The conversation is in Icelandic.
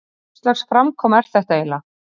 Hvurslags framkoma er þetta eiginlega?